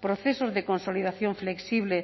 procesos de consolidación flexible